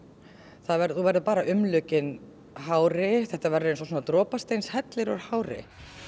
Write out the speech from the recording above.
þú verður þú verður umlukinn hári þetta verður svona dropasteinshellir úr hári